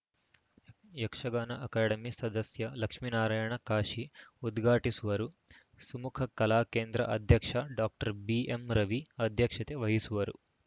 Yakshagana academy ಸದಸ್ಯ ಲಕ್ಷ್ಮಿನಾರಾಯಣ ಕಾಶಿ ಉದ್ಘಾಟಿಸುವರು ಸುಮುಖ ಕಲಾಕೇಂದ್ರ ಅಧ್ಯಕ್ಷ ಡಾಕ್ಟರ್ ಬಿಎಂರವಿ ಅಧ್ಯಕ್ಷತೆ ವಹಿಸುವರು